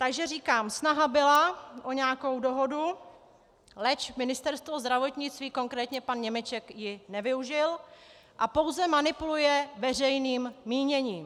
Takže říkám, snaha byla o nějakou dohodu, leč Ministerstvo zdravotnictví, konkrétně pan Němeček ji nevyužil a pouze manipuluje veřejným míněním.